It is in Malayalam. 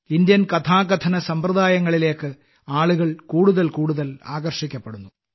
ഇന്ത്യൻ കഥാകഥന സമ്പ്രദായങ്ങളിലേക്ക് ആളുകൾ കൂടുതൽ കൂടുതൽ ആകർഷിക്കപ്പെടുന്നു